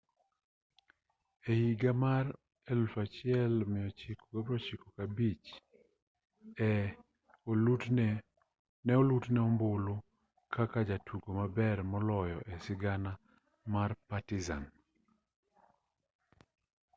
e higa mar 1995 ne olutne ombulu kaka jatugo maber moloyo e sigana mar partizan